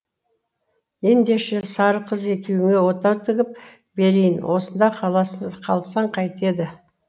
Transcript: ендеше сары қыз екеуіңе отау тігіп берейін осында қалсаң қайтеді